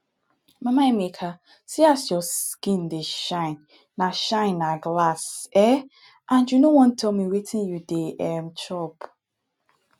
mama emeka see as your skin dey shine na shine na glass um and you no wan tell me wetin you dey um chop